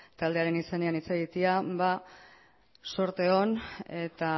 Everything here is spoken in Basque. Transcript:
taldearen izenean hitz egitea ba zorteon eta